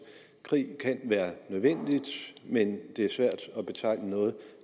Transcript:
krig kan være nødvendig men det er svært at betegne noget